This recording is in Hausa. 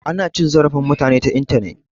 Ana cin zarafin mutane ta intanet